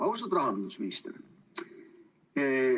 Austatud rahandusminister!